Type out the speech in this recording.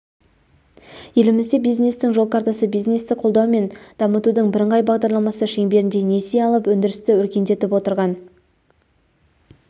елімізде бизнестің жол картасы бизнесті қолдау мен дамытудың бірыңғай бағдарламасы шеңберінде несие алып өндірісті өркендетіп отырған